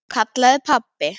kallaði pabbi.